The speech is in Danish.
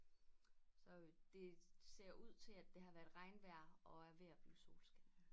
Så det ser ud til at det har været regnvejr og er ved at blive solskin